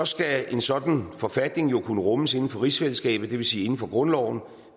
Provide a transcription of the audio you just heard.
skal en sådan forfatning jo kunne rummes inden for rigsfællesskabet og det vil sige inden for grundloven